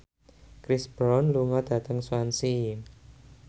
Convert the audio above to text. Chris Brown lunga dhateng Swansea